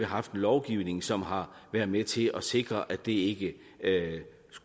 haft en lovgivning som har været med til at sikre at det ikke